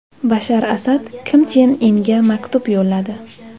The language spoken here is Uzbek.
Bashar Asad Kim Chen Inga maktub yo‘lladi.